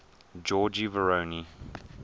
georgy voronoy